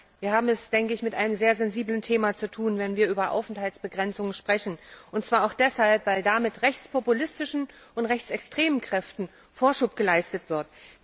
Wir haben es, denke ich, mit einem sehr sensiblen Thema zu tun, wenn wir über Aufenthaltsbegrenzungen sprechen, und zwar auch deshalb, weil damit rechtspopulistischen und rechtsextremen Kräften Vorschub geleistet wird.